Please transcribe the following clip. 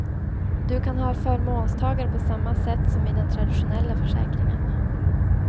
Du kan ha förmånstagare på samma sätt som i den traditionella försäkringen.